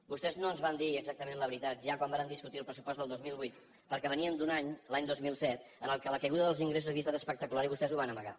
vostès no ens van dir exactament la veritat ja quan vàrem discutir el pressupost del dos mil vuit perquè veníem d’un any l’any dos mil set en què la caiguda dels ingressos havia estat espectacular i vostès ho van amagar